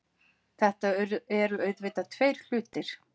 Þetta eru auðvitað tveir hlutir